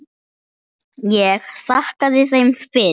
Ég þakkaði þeim fyrir.